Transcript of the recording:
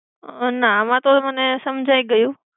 ના, આમ તો મને સમજાઈ ગયું.